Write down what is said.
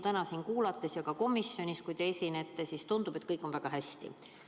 Täna siin ja ka komisjonis teie juttu kuulates tundub, et kõik on väga hästi.